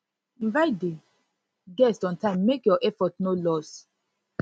invite di guests on time make your effort no loss